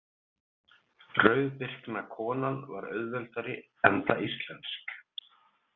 Rauðbirkna konan var auðveldari enda íslensk.